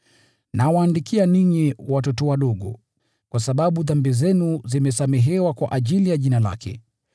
Nawaandikia ninyi, watoto wadogo, kwa sababu dhambi zenu zimesamehewa kwa ajili ya Jina lake.